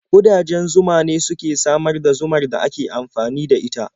Ƙudajen zuma ne suke samar da zumar da ake amfani da ita.